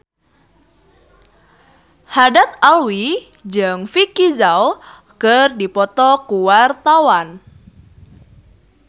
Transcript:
Haddad Alwi jeung Vicki Zao keur dipoto ku wartawan